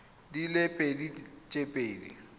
di le pedi tse di